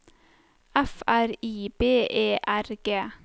F R I B E R G